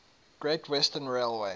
great western railway